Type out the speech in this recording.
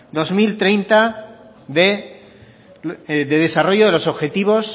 dos mil treinta de desarrollo de los objetivos